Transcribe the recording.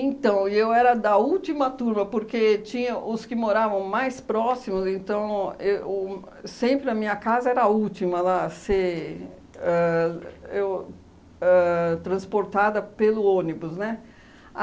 Então, eu era da última turma, porque tinha os que moravam mais próximos, então e uhn, sempre a minha casa era a última lá a ser ãh eu ãh transportada pelo ônibus, né?